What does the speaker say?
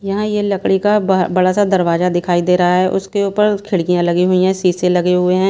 यहां ये लकड़ी का बड़ा सा दरवाजा दिखाई दे रहा है उसके ऊपर खिड़कियां लगी हुई है शीशे लगे हुए हैं।